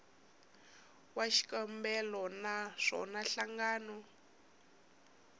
wa xikombelo na swona nhlangano